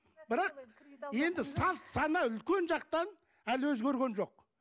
бірақ енді салт сана үлкен жақтан әлі өзгерген жоқ